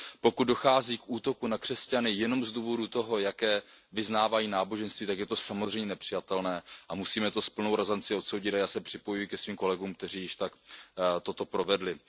Pokud dochází k útoku na křesťany jenom z důvodu toho, jaké vyznávají náboženství, tak je to samozřejmě nepřijatelné a musíme to s plnou razancí odsoudit a já se připojuji ke svým kolegům, kteří již tak učinili.